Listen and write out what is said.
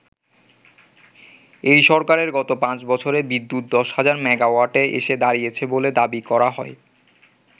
এই সরকারের গত পাঁচ বছরে বিদ্যুৎ দশ হাজার মেগাওয়াটে এসে দাঁড়িয়েছে বলে দাবি করা হয়।